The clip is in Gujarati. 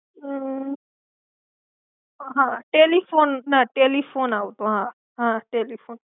હમ હા ટેલિફોન ના, ટેલિફોન આવતો. હા! હા! ટેલિફોન.